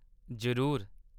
जरूर।